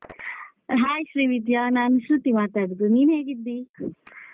Hai Srividya ನಾನು ಶ್ರುತಿ ಮಾತಾಡುದು ನೀನ್ ಹೇಗಿದ್ದಿ?